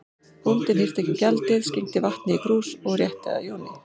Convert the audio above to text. Bóndi hirti ekki um gjaldið, skenkti vatni í krús og rétti að Jóni.